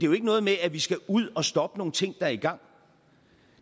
jo ikke noget med at vi skal ud og stoppe nogle ting der er i gang